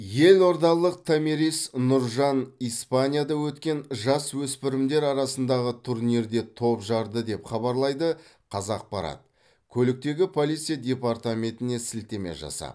елордалық томирис нұржан испанияда өткен жасөспірімдер арасындағы турнирде топ жарды деп хабарлайды қазақпарат көліктегі полиция департаментіне сілтеме жасап